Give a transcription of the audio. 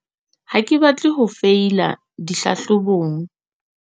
Ha ke batle ho feila dihlahlobong.